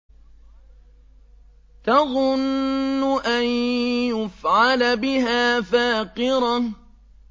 تَظُنُّ أَن يُفْعَلَ بِهَا فَاقِرَةٌ